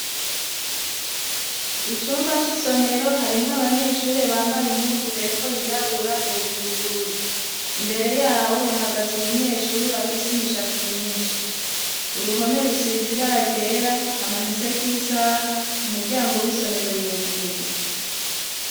Icumba c'isomero harimwo abanyeshuri bambaye impunzu hepfo yirabura hejuru ubururu. Imbere yabo hahagaze umunyeshuri afise imishatsi myinshi. Uruhome rusize ibara ryera hamanitseko isaha, umuryango w'isomero ruguruye.